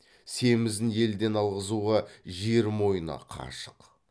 семізін елден алғызуға жер мойны қашық